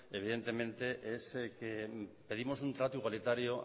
evidentemente es que pedimos un trato igualitario